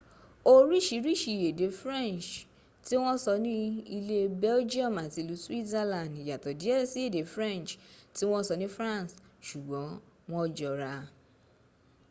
oríṣiríṣi èdè french tí wọ́n sọ ní ilé belgium àti ilú switzerland yàtọ̀ díẹ̀ sí èdè french tí wọ́n sọ ní france ṣùgbọ́n wọ jọra